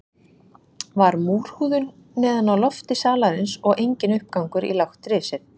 Var múrhúðun neðan á lofti salarins og enginn uppgangur í lágt risið.